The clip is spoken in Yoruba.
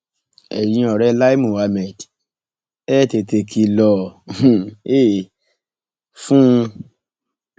ẹyin ọrẹ lai muhammed ẹ tètè kìlọ um fún un